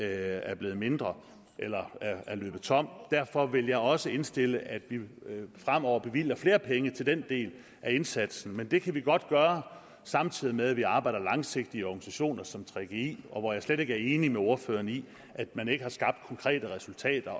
er blevet mindre eller er blevet tom derfor vil jeg også indstille at vi fremover bevilger flere penge til den del af indsatsen men det kan vi godt gøre samtidig med at vi arbejder langsigtet i organisationer som gggi og jeg er slet ikke enig med ordføreren i at man ikke har skabt konkrete resultater